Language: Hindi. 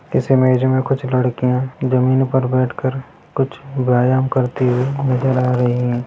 इस इमेज मे कुछ लड़कियां जमीन पर बैठ कर कुछ व्यायाम करती हुई नजर आ रही हैं।